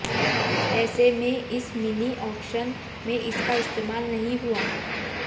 ऐसे में इस मिनी ऑक्शन में इसका इस्तेमाल नहीं हुआ